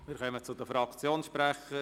Wir kommen zu den Fraktionssprechern.